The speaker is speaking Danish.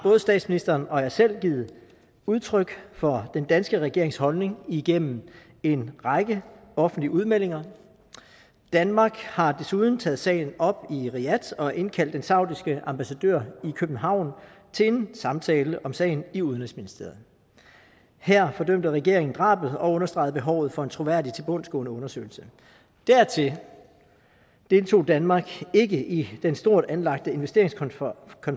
statsministeren og jeg selv givet udtryk for den danske regerings holdning igennem en række offentlige udmeldinger danmark har desuden taget sagen op i riyadh og indkaldt den saudiske ambassadør i københavn til en samtale om sagen i udenrigsministeriet her fordømte regeringen drabet og understregede behovet for en troværdig tilbundsgående undersøgelse dertil deltog danmark ikke i den stort anlagte investeringskonference